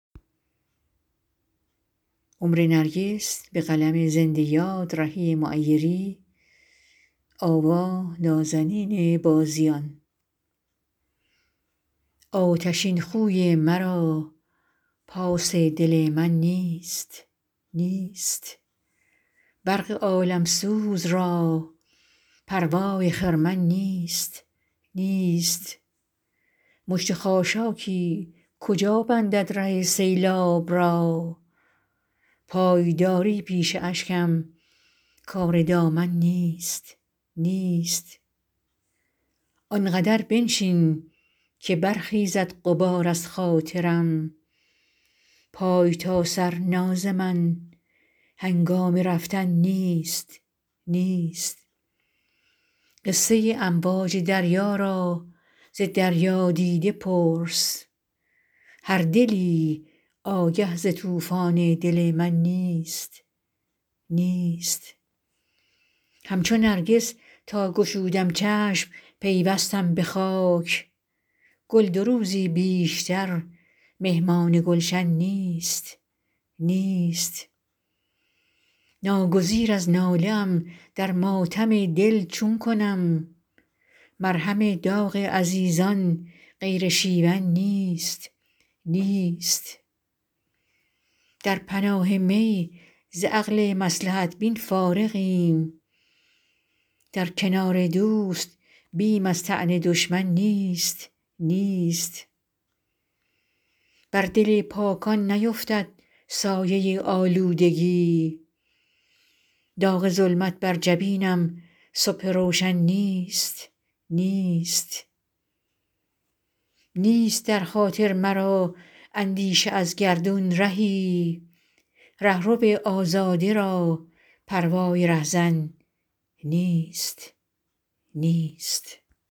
آتشین خوی مرا پاس دل من نیست نیست برق عالم سوز را پروای خرمن نیست نیست مشت خاشاکی کجا بندد ره سیلاب را پایداری پیش اشکم کار دامن نیست نیست آنقدر بنشین که برخیزد غبار از خاطرم پای تا سر ناز من هنگام رفتن نیست نیست قصه امواج دریا را ز دریادیده پرس هر دلی آگه ز طوفان دل من نیست نیست همچو نرگس تا گشودم چشم پیوستم به خاک گل دو روزی بیشتر مهمان گلشن نیست نیست ناگزیر از ناله ام در ماتم دل چون کنم مرهم داغ عزیزان غیر شیون نیست نیست در پناه می ز عقل مصلحت بین فارغیم در کنار دوست بیم از طعن دشمن نیست نیست بر دل پاکان نیفتد سایه آلودگی داغ ظلمت بر جبین صبح روشن نیست نیست نیست در خاطر مرا اندیشه از گردون رهی رهرو آزاده را پروای رهزن نیست نیست